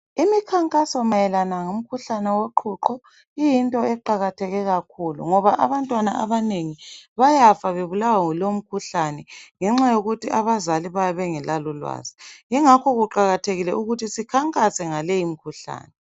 Imikhankaso mayelana ngomkhuhlane woqhuqho iyinto eqakatheke kakhulu. Ngoba abantwana abanengi bayafa bebulawa yilomkhuhlane ngenxa yokuthi abazali bayabe bengelalo ulwazi .yingakho kuqakathekile ukuthi sikhankase ngaleyi mikhuhlane.